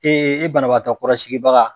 banabagatɔ kɔrɔ sigibaga.